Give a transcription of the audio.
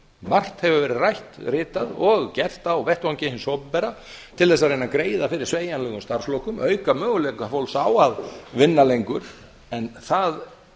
margt hefur verið rætt ritað og gert á vettvangi hins opinbera til þess að reyna að greiða fyrir sveigjanlegum starfslokum og auka möguleika fólks á að vinna lengur en öllum